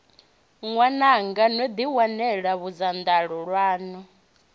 ṅwananga no ḓiwanela bodzanḓala ḽaṋu